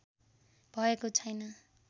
भएको छैन